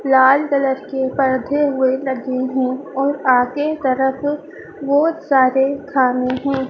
लाल colour के पर्दे हुए लगे हैं और आगे तरफ बहुत सारे खाने हैं।